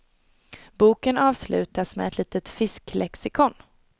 Boken avslutas med ett litet fisklexikon.